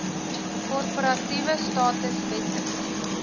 korporatiewe status wetlike